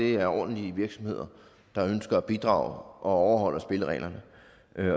er ordentlige virksomheder der ønsker at bidrage og overholder spillereglerne